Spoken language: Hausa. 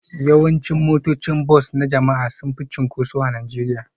Yawancin motocin bas na jama'a sun fi cunkoso a Najeriya